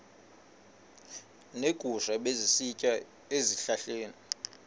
neegusha ebezisitya ezihlahleni